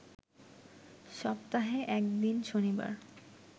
সপ্তাহে এক দিন, শনিবার